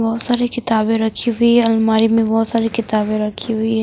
बहुत सारी किताबें रखी हुई हैं अलमारी में बहुत सारी किताबें रखी हुई हैं।